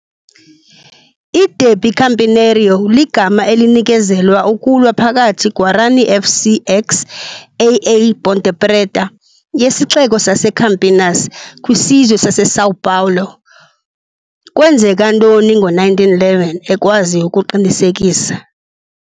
I-Dérbi campineiro ligama elinikezelwa ukulwa phakathi Guarani FC x AA Ponte Preta yesixeko saseCampinas, kwiSizwe saseSão Paulo, kwenzeka ntoni ngo-1911, ekwazi ukuqinisekisa,